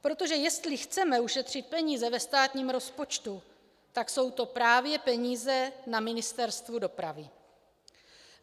Protože jestli chceme ušetřit peníze ve státním rozpočtu, tak jsou to právě peníze na Ministerstvu dopravy.